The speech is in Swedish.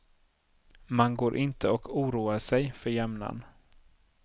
Man går inte och oroar sig för jämnan.